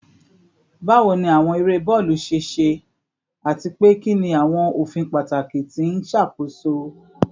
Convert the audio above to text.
Bawo ni awọn ere bọọlu ṣe ṣe, ati pe kini awọn ofin pataki ti n ṣakoso ere naa?